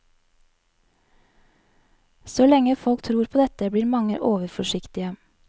Så lenge folk tror på dette, blir mange overforsiktige.